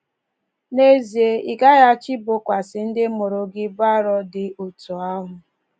N’ezie, ị gaghị achọ ibokwasị ndị mụrụ gị ibu arọ dị otú ahụ!